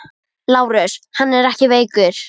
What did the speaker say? LÁRUS: Hann er ekki veikur!